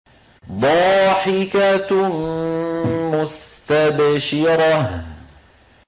ضَاحِكَةٌ مُّسْتَبْشِرَةٌ